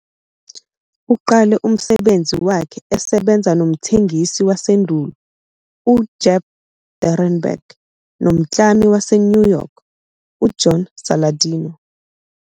Uqale umsebenzi wakhe esebenza nomthengisi wasendulo uGep Durenberger nomklami waseNew York uJohn Saladino.